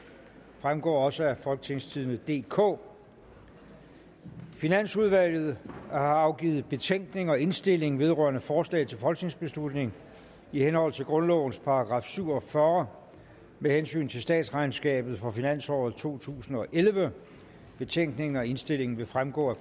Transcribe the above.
fremgår også af folketingstidende DK finansudvalget har afgivet betænkning og indstilling vedrørende forslag til folketingsbeslutning i henhold til grundlovens § syv og fyrre med hensyn til statsregnskabet for finansåret totusinde og ellevte betænkningen og indstillingen vil fremgå af